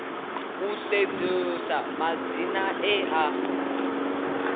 u sedzulusa madzina e a